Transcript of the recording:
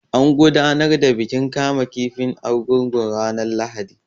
An gudanar da bikin kama kifin Argungun ranar Lahadi.